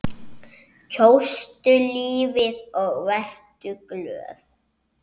Kjóstu lífið og vertu glöð.